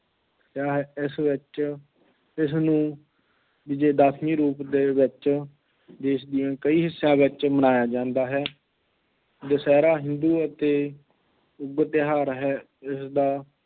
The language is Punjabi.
ਇਸ ਵਿੱਚ, ਇਸ ਨੂੰ ਵਿਜੇਦਸ਼ਮੀ ਰੂਪ ਦੇ ਵਿੱਚ, ਦੇਸ਼ ਦੀਆਂ ਕਈ ਹਿੱਸਿਆਂ ਵਿੱਚ ਮਨਾਇਆ ਜਾਂਦਾ ਹੈ, ਦੁਸਹਿਰਾ ਹਿੰਦੂ ਅਤੇ ਸ਼ੁੱਭ ਤਿਉਹਾਰ ਹੈ, ਜਿਸਦਾ